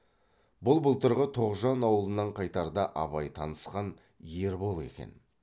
бұл былтырғы тоғжан аулынан қайтарда абай танысқан ербол екен